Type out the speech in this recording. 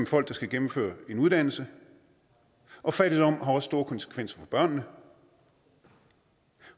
folk der skal gennemføre en uddannelse og fattigdom har også store konsekvenser for børnene